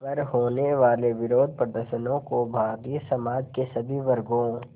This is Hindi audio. पर होने वाले विरोधप्रदर्शनों को भारतीय समाज के सभी वर्गों